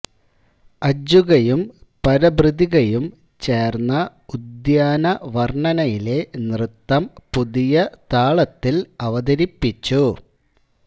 അജ്ജുകയും പരഭൃതികയും ചേർന്ന ഉദ്യാനവർണ്ണനയിലെ നൃത്തം പുതിയ താളത്തിൽ അവതരിപ്പിച്ചു